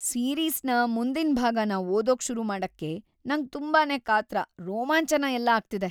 ಸೀರೀಸ್‌ನ ಮುಂದಿನ್ ಭಾಗನ ಓದೋಕ್ ಶುರುಮಾಡಕ್ಕೆ ನಂಗ್‌ ತುಂಬಾನೇ ಕಾತರ, ರೋಮಾಂಚನ ಎಲ್ಲ ಆಗ್ತಿದೆ.